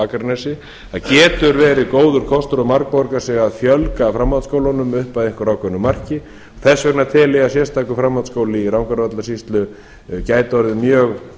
akranesi það getur verið góður kostur og margborgað sig að fjölga framhaldsskólunum upp að einhverju ákveðnu marki þess vegna tel ég að sérstakur framhaldsskóli í rangárvallasýslu gæti orðið mjög